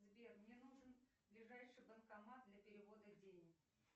сбер мне нужен ближайший банкомат для перевода денег